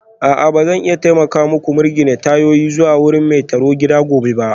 A'a ba zan iya taimaka muku mirgine tayoyin zuwa wurin mai tarugida gobe